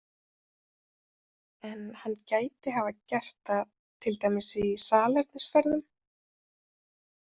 En hann gæti hafa gert það til dæmis í salernisferðum?